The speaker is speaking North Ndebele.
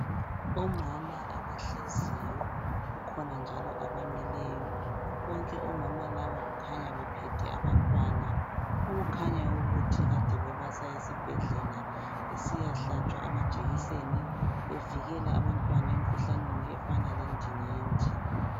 Omama abahleziyo kukhona njalo abamileyo bonke omama laba kukhanya bephethe abantwana okukhanya ukuthi kade bebasa esibhedlela besiyahlatshwa amajekiseni bevikela abantwana emkhuhlaneni efana lendingindi.